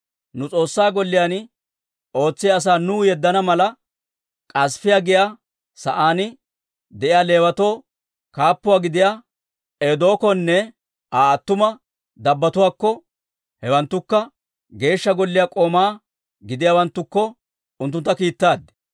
Nu S'oossaa Golliyaan ootsiyaa asaa nuw yeddana mala, Kaasifiyaa giyaa sa'aan de'iyaa Leewatoo kaappuwaa gidiyaa Iddokkonne Aa attuma dabbotuwaakko, hewanttukka Geeshsha Golliyaa k'oomaa gidiyaawanttukko unttuntta kiittaad.